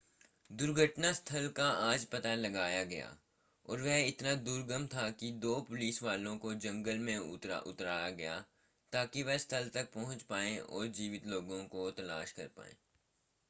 दुर्घटना स्थल का आज पता लगाया गया और वह इतना दुर्गम था कि दो पुलिसवालों को जंगल में उतरा गया ताकि वह स्थल तक पहुंच पाएं और जीवित लोगों की तलाश कर पाएं